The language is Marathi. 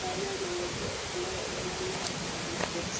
त्या जागेवरती आपल्याला बघायला मिळत आहे खूप सा--